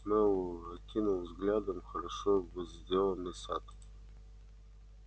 мэллоу окинул взглядом хорошо возделанный сад